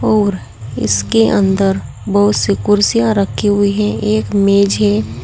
और इसके अंदर बहुत सी कुर्सियां रखी हुई है एक मेज है।